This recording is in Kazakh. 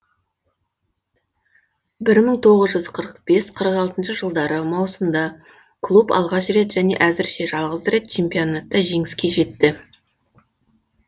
бір мың тоғыз жүз қырық бес қырық алтыншы жылдары маусымда клуб алғаш рет және әзірше жалғыз рет чемпионатта жеңіске жетті